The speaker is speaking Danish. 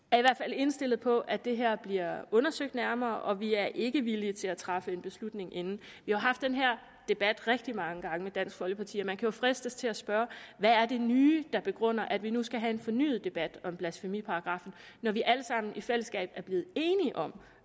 indstillet på at det her bliver undersøgt nærmere og vi er ikke villige til at træffe en beslutning inden vi har haft den her debat rigtig mange gange med dansk folkeparti og man kunne jo fristes til at spørge hvad er det nye der begrunder at vi nu skal have en fornyet debat om blasfemiparagraffen når vi alle sammen i fællesskab er blevet enige om